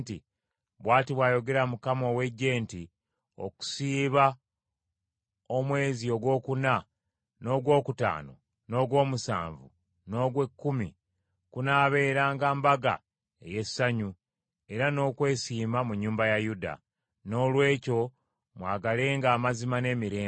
Bw’ati bw’ayogera Mukama ow’Eggye nti, “Okusiiba omwezi ogwokuna, n’ogwokutaano, n’ogw’omusanvu, n’ogw’ekkumi kunaabeeranga mbaga ey’essanyu era n’okwesiima mu nnyumba ya Yuda. Noolwekyo mwagalenga amazima n’emirembe.”